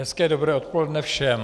Hezké dobré odpoledne všem.